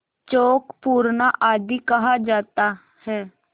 चौक पूरना आदि कहा जाता है